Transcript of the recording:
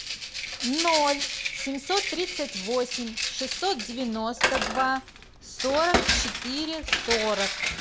ноль семьсот тридцать восемь шестьсот девяносто два сорок четыре сорок